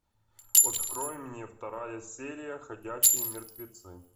открой мне вторая серия ходячие мертвецы